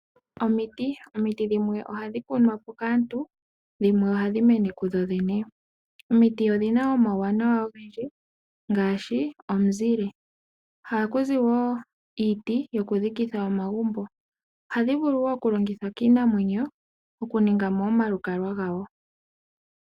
Omiti, omiti dhimwe oha dhi kunwa po kaantu dhimwe oha dhi mene kudhodhene. Omiti odhina omauwanawa ogendji ngaashi omuzile. Oha ku zi woo iiti yokudhikitha omagumbo. Oha dhi vulu woo oku longithwa kiinamwenyo oku ninga mo omalukalwa gawo.